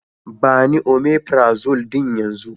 Ba ni " omeprazole " din yanzo.